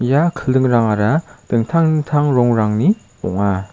ia kildingrangara dingtang dingtang rongrangni ong·a.